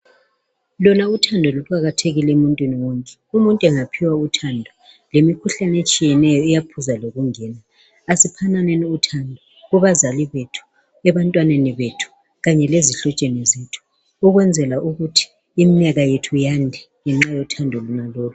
Lona uthando kuqakathekile emuntwini wonke umuntu engaphiwa uthando lemikhuhlane etshiyeneyo iyaphuza lokungena asiphananeni uthando kubazali bethi ebantwaneni bethu Kanye lezihlotsheni zethu Ukwenzela ukuthi iminyaka yethu iyande ngenxa yothando lolu